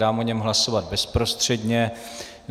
Dám o něm hlasovat bezprostředně.